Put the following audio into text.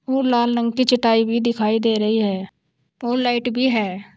लाल रंग की चटाई भी दिखाई दे रही है और लाइट भी है।